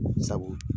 Sabu